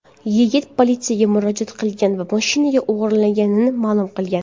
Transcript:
Yigit politsiyaga murojaat qilgan va mashina o‘g‘irlanganini ma’lum qilgan.